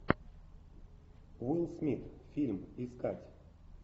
уилл смит фильм искать